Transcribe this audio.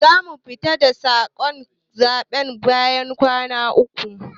zamu fitar da sakamakon zabe bayan kwana uku.